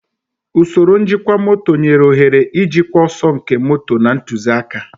Usoro njikwa moto nyere ohere ijikwa ọsọ nke moto na ntụzịaka.